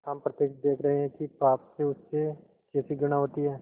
हम प्रत्यक्ष देख रहे हैं कि पाप से उसे कैसी घृणा होती है